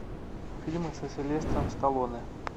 фильмы со сильвестром сталлоне